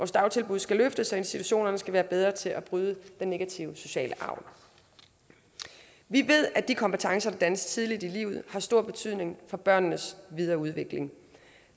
dagtilbud skal løftes og institutionerne skal være bedre til at bryde den negative sociale arv vi ved at de kompetencer der dannes tidligt i livet har stor betydning for børnenes videre udvikling